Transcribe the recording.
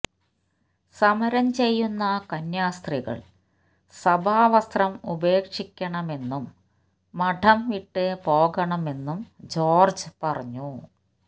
സമരം ചെയ്യുന്ന കന്യാസ്ത്രീകൾ സഭാവസ്ത്രം ഉപേക്ഷിക്കണമെന്നും മഠം വിട്ട് പോകണമെന്നും ജോർജ് പറഞ്ഞു